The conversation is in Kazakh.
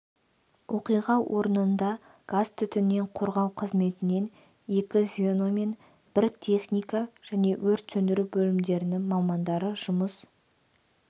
оқиға орнында газ-түтіннен қорғау қызметінен екі звено мен бір техника және өрт сөндіру бөлімдерінің мамандары жұмыс